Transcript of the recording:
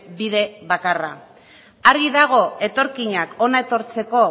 bide bakarra argi dago etorkinak hona etortzeko